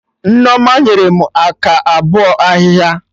Nneoma nyere m aka bọ ahịhịa